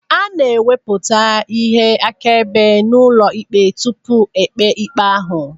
A na-ewepụta ihe akaebe n'ụlọikpe tupu e kpee ikpe ahụ.